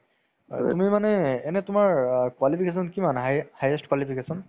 তুমি মানে এনে তোমাৰ অ qualification কিমান high য়ে highest qualification